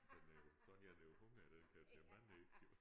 Den er jo så har den jo hunger den kan tage mange æg jo